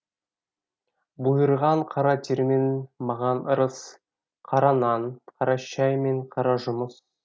бұйырған қара термен маған ырыс қара нан қара шәй мен қара жұмыс